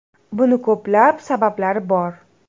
Buning ko‘plab sabablari bor.